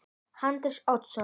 Hrafn Oddsson